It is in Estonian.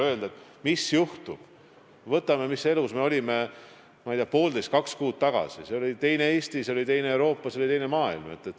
Võtame näiteks selle, mis elus me olime, ma ei tea, poolteist või kaks kuud tagasi – see oli teine Eesti, see oli teine Euroopa, see oli teine maailm.